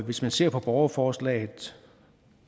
hvis man ser på borgerforslaget